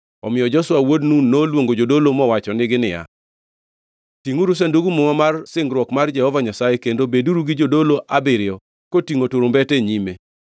Omiyo Joshua wuod Nun noluongo jodolo mowachonegi niya, “Tingʼuru Sandug Muma mar singruok mar Jehova Nyasaye kendo beduru gi jodolo abiriyo kotingʼo turumbete e nyime.”